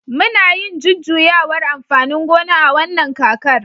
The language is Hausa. muna yin jujjuyawar amfanin gona a wannan kakar